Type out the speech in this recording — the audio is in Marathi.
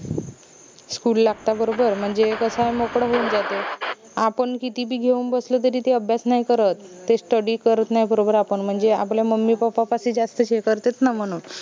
school लागता बरोबर म्हनजे कस मोकड होऊन जाते आपन किती बी घेऊन बसलो तरी ते अभ्यास नाई करत ते study करत नाई बरोबर आपन म्हनजे आपलं mummypappa पाशी जास्तच हे करतेत न म्हनून